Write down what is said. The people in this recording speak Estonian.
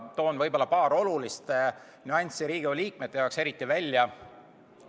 Toon Riigikogu liikmete jaoks võib-olla paar eriti olulist nüanssi välja.